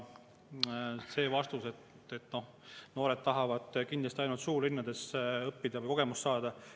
vastas, et noored tahavad kindlasti ainult suurlinnades õppida või seal kogemust saada.